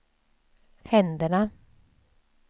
händerna